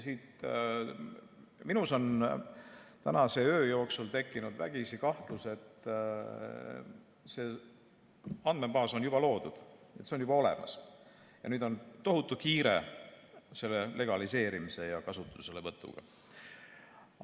Minus on tänase öö jooksul tekkinud vägisi kahtlus, et see andmebaas on juba loodud, see on juba olemas ja nüüd on tohutult kiire selle legaliseerimise ja kasutuselevõtuga.